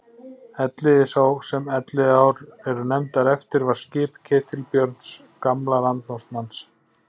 Elliði sá sem Elliðaár eru nefndar eftir var skip Ketilbjörns gamla landnámsmanns.